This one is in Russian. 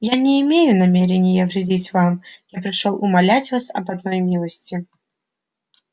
я не имею намерения вредить вам я пришёл умолять вас об одной милости